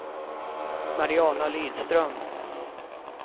Mariana Lidström